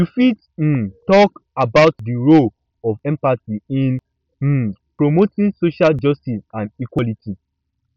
you fit um talk um about di role of empathy in um promoting social justice and equality